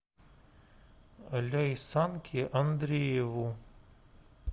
ляйсанке андрееву